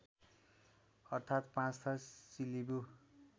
अर्थात् पाँचथर सिलिबु